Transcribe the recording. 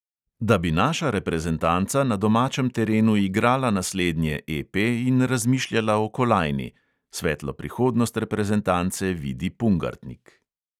"Da bi naša reprezentanca na domačem terenu igrala naslednje EP in razmišljala o kolajni," svetlo prihodnost reprezentance vidi pungartnik.